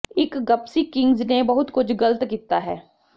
ਇੱਕ Gypsy Kings ਨੇ ਬਹੁਤ ਕੁਝ ਗਲਤ ਕੀਤਾ ਹੈ